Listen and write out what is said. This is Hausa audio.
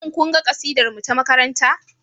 Shin kun ga kasidarmu ta makaranta?